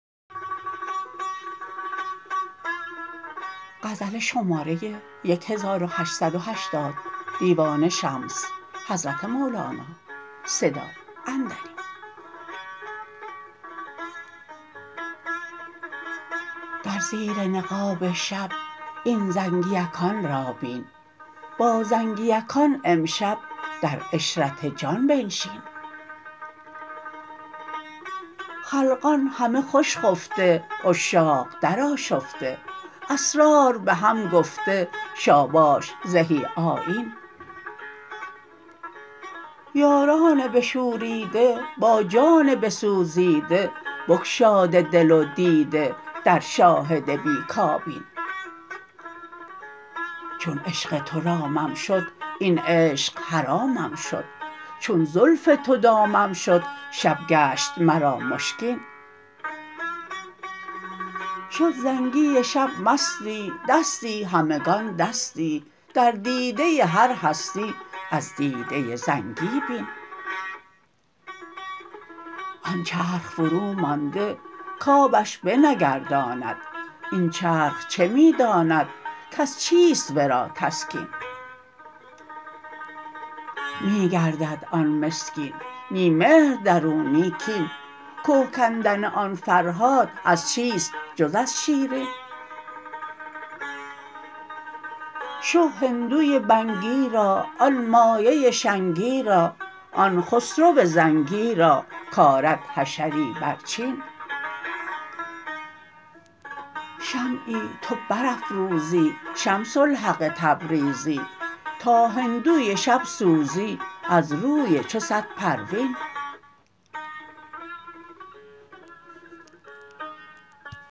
در زیر نقاب شب این زنگیکان را بین با زنگیکان امشب در عشرت جان بنشین خلقان همه خوش خفته عشاق درآشفته اسرار به هم گفته شاباش زهی آیین یاران بشوریده با جان بسوزیده بگشاده دل و دیده در شاهد بی کابین چون عشق تو رامم شد این عشق حرامم شد چون زلف تو دامم شد شب گشت مرا مشکین شد زنگی شب مستی دستی همگان دستی در دیده هر هستی از دیده زنگی بین آن چرخ فرومانده کآبش بنگرداند این چرخ چه می داند کز چیست ورا تسکین می گردد آن مسکین نی مهر در او نی کین که کندن آن فرهاد از چیست جز از شیرین شه هندوی بنگی را آن مایه شنگی را آن خسرو زنگی را کرد حشری بر چین شمعی تو برافروزی شمس الحق تبریزی تا هندوی شب سوزی از روی چو صد پروین